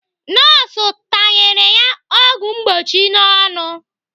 Nọọsụ tanyere ya ọgwụ mgbochi n'ọnụ.